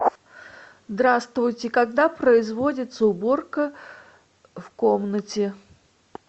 здравствуйте когда производится уборка в комнате